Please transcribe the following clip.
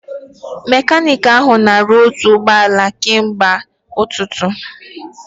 Mekaniiki ahụ ka na-arụ otu ụgbọala ahụ kemgbe ụtụtụ